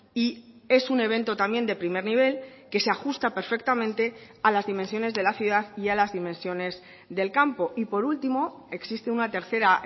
y es un evento también de primer nivel que se ajusta perfectamente a las dimensiones de la ciudad y a las dimensiones del campo y por último existe una tercera